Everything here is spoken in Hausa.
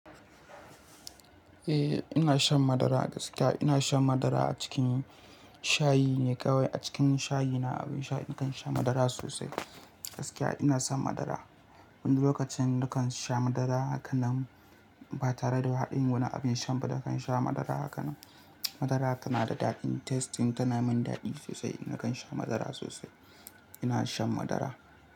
Eh ina shan madara gaskiya ina shan madara a cikin shayi ne kawai a cikin shayi na abin sha nakan sha madara sosai gaskiya ina son madara wani lokacin nakan sha madara hakanan ba tare da haɗin wani abin sha ba nakan sha madara hakanan madara tana da daɗin tasting tana min daɗi sosai nakan sha madara sosai ina shan madara.